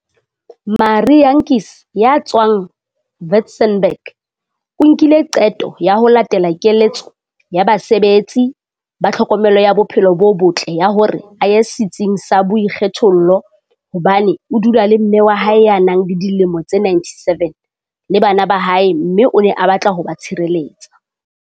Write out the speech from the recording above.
Marie Jantjies ya tswang Witzenberg o nkile qeto ya ho latela keletso ya basebetsi ba tlhokomelo ya bophelo bo botle ya hore a ye setsing sa boikgethollo hobane o dula le mme wa hae ya nang le dilemo tse 97 le bana ba hae mme o ne a batla ho ba tshireletsa.